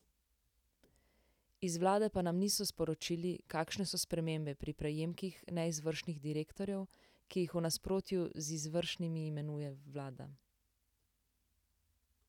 Iz vlade pa nam niso sporočili, kakšne so spremembe pri prejemkih neizvršnih direktorjev, ki jih v nasprotju z izvršnimi imenuje vlada.